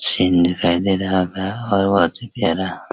Scene दिखाई दे रहा था और बहोत ही प्यार।